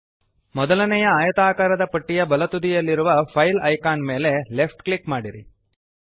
ಮೊದಲನೆಯ ಆಯತಾಕಾರದ ಪಟ್ಟಿಯ ಬಲತುದಿಯಲ್ಲಿರುವ ಫೈಲ್ ಐಕಾನ್ ಮೇಲೆ ಲೆಫ್ಟ್ ಕ್ಲಿಕ್ ಮಾಡಿರಿ